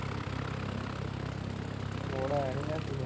ਉਹਦਾ ਆਇਆ ਨੀ message